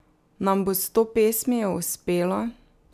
Nam bo s to pesmijo uspelo?